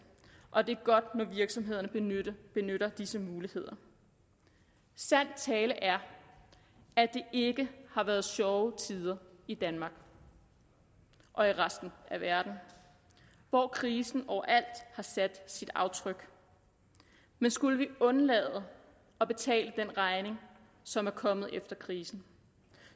og det er godt når virksomhederne benytter disse muligheder sand tale er at det ikke har været sjove tider i danmark og i resten af verden hvor krisen overalt har sat sit aftryk men skulle vi undlade at betale den regning som er kommet efter krisen